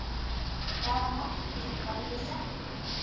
Hvaða markmið hafi þið sett ykkur?